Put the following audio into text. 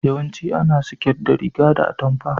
Yawancin ana siket da riga da atumfa.